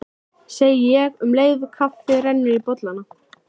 segi ég um leið og kaffið rennur í bollana.